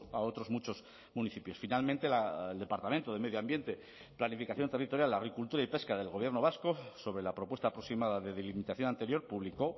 a otros muchos municipios finalmente el departamento de medio ambiente planificación territorial agricultura y pesca del gobierno vasco sobre la propuesta aproximada de delimitación anterior publicó